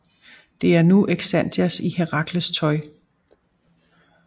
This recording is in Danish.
Det er nu Xanthias i Herakles tøj